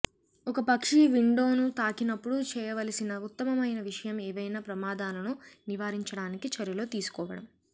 ఒక పక్షి విండోను తాకినప్పుడు చేయవలసిన ఉత్తమమైన విషయం ఏవైనా ప్రమాదాలను నివారించడానికి చర్యలు తీసుకోవడం